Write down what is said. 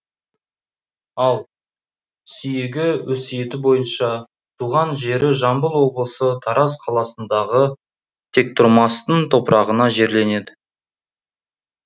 ал сүйегі өсиеті бойынша туған жері жамбыл облысы тараз қаласындағы тектұрмастың топырағына жерленеді